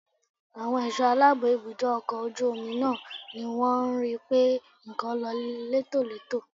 Àwọn ẹ̀ṣọ́ aláàbò ibùdó ọkọ̀ ojú omi náà ni wọ́n rí pé nǹkan lọ létòletò